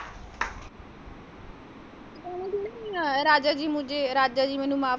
ਰਾਜਾ ਜੀ ਮੁਝੇ ਰਾਜਾ ਜੀ ਮੈਨੂੰ ਮਾਫ।